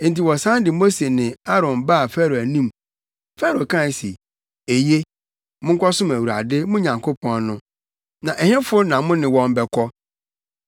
Enti wɔsan de Mose ne Aaron baa Farao anim. Farao kae se, “Eye, monkɔsom Awurade, mo Nyankopɔn no. Na ɛhefo na mo ne wɔn bɛkɔ?”